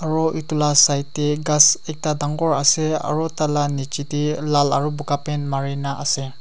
aro itula side tey ghas ekta dangor ase aro tala nichitey lal aro buka paint marina ase.